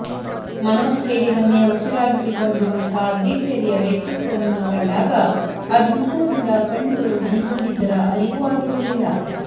ಮನೋಸ್ಥೈರ್ಯವನ್ನೇ ಉಸಿರಾಗಿಸಿಕೊಂಡಿರುವಂಥ ದಿಟ್ಟೆದೆಯ ವ್ಯಕ್ತಿತ್ವವನ್ನು ಕಂಡಾಗ ಅಭಿಮಾನದಿಂದ ಕಣ್ಣುಗಳು ಹನಿಗೂಡಿದ್ದರ ಅರಿವೂ ಆಗಿರಲಿಲ್ಲ